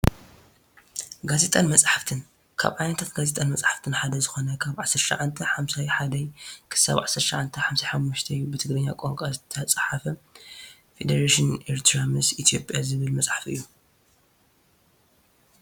ጋዜጣን መፅሓፍትን፡- ካብ ዓይነታት ጋዜጣን መፅሓፍትን ሓደ ዝኾነ ካብ 1951 - 1955 ብትግርኛ ቋንቋ ዝተፃሕፈ ፌደሬሽን ኤርትራ ምስ ኢ/ያ ዝብል መፀሓፍ እዩ፡፡